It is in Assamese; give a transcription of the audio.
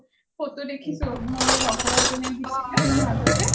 ফটো দেখিছো মোৰ লগৰ এজনীয়ে দিছিলে মাজতে .